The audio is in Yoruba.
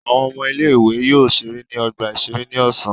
Àwọn ọmọ ilé-ìwé yóò ṣeré ní ọgbà-ìṣeré ní ọ̀sán.